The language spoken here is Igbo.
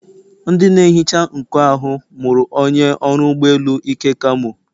Ndị na-ehicha nkụ ahụ mụrụ onye ọrụ ụgbọ elu Ike kamo.